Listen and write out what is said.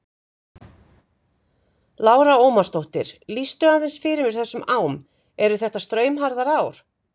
Lára Ómarsdóttir: Lýstu aðeins fyrir mér þessum ám, eru þetta straumharðar ár?